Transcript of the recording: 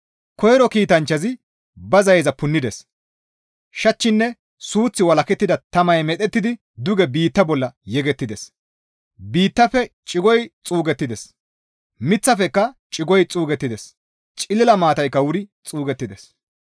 Koyro kiitanchchazi ba zayeza punnides; shachchinne suuththi walakettida tamay medhettidi duge biitta bolla yegettides; biittafe cigoy xuugettides; miththafekka cigoy xuugettides; cilila maataykka wuri xuugettides.